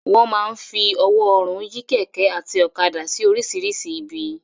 Wọ́n máa ń fi ọwọ́ ọrùn yí kẹ̀kẹ́ àti ọ̀kadà sí oríṣìíríṣìí ibi.